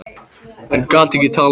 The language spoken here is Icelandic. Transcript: En gat ekki talað um það.